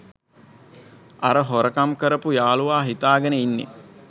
අර හොරකම් කරපු යාළුවා හිතාගෙන ඉන්නේ